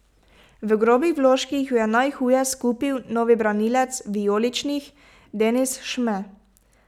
V grobih vložkih jo je najhuje skupil novi branilec vijoličnih Denis Šme.